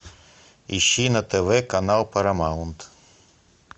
ищи на тв канал парамаунт